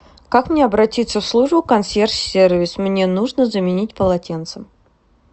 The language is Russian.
как мне обратиться в службу консьерж сервис мне нужно заменить полотенце